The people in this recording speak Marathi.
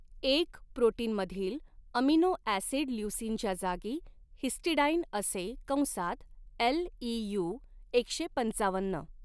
एक प्रोटीनमधील अमीनो ऍसिड ल्युसीनच्या जागी हिस्टिडाइन असे कंसात एलईयू एकशे पंचावन्न